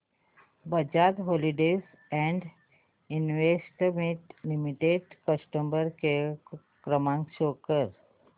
Bajaj holdings and investment limited customer care क्रमांक show कर